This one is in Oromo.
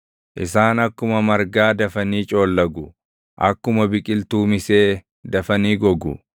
Isaan akkuma margaa dafanii coollagu; akkuma biqiltuu misee dafanii gogu.